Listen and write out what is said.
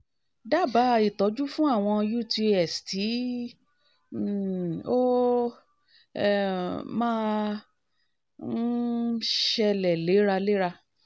dábàá ìtọ́jú fún àwọn utis tí um ó um máa um ń ṣẹlẹ̀ léraléra